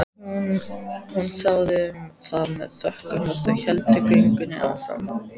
Hún þáði það með þökkum og þau héldu göngunni áfram.